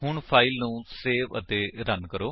ਹੁਣ ਫਾਇਲ ਨੂੰ ਸੇਵ ਅਤੇ ਰਨ ਕਰੋ